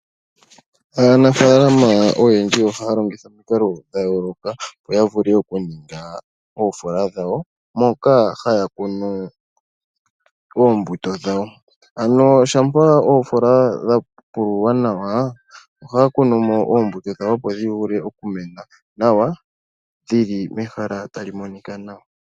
Aanafaalama oyendji ohaya longitha omikalo dha yooloka opo ya vule okuninga oofola dhawo , moka haya kunu oombuto dhawo. Ano shampa oofola dha pululwa nawa, ohaya kunu mo oombuto dhawo opo dhi vule oku mena nawa, dhili mehala tali monika nawa.